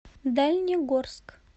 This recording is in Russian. дальнегорск